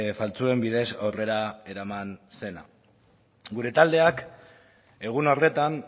faltsuen bidez aurrera eraman zena gure taldeak egun horretan